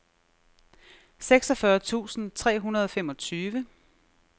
seksogfyrre tusind tre hundrede og femogtyve